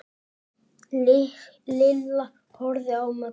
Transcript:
Lilla horfði á Möggu.